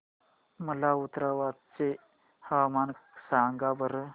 मला उन्नाव चे हवामान सांगा बरं